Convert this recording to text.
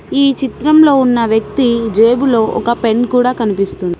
ఈ చిత్రంలో ఉన్న వ్యక్తి జేబులో ఒక పెన్ కూడా కనిపిస్తుంది అది --